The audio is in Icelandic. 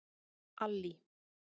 Allý